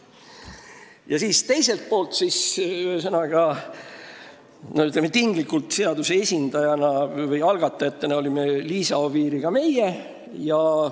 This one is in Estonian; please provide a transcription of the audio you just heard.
Ja teiselt poolt – ütleme tinglikult, et seaduse esindajate või algatajatena – olime kohal meie Liisa Oviiriga.